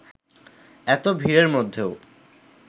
এত ভিড়ের মধ্যেও